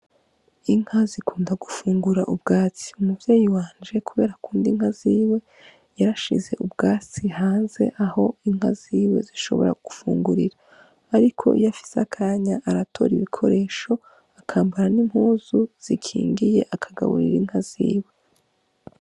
Inka zikunda gufungura ubwatsi umuvyeyi wanje kubera akunda inka ziwe yarashize ubwatsi hanze aho inka ziwe zishobora gufungurira ariko iyo afise akanya aratora ibikoresho akambara n' impuzu zikingiye akagaburira inka ziwe.